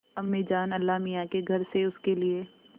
अम्मीजान अल्लाहमियाँ के घर से उसके लिए